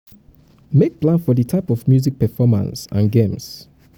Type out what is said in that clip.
make plan for di type of music performance um and games